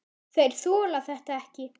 Þeir þola þetta ekki.